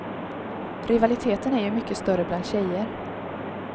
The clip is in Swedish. Rivaliteten är ju mycket större bland tjejer.